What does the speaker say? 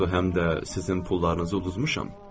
Axı həm də sizin pullarınızı uduzmuşam.